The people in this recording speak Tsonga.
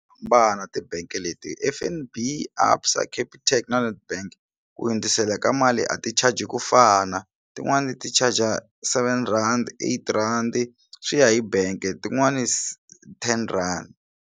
Hambana tibangi leti F_N_B, ABSA, Capitec na Netbank ku hundzisela ka mali a ti charge ku fana tin'wani ti charger seven rhandi, eight randi swi ya hi bank tin'wani ten rand.